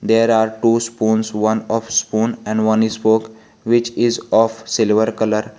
there are two spoones one of spoon and one is spoke which is of silver colour.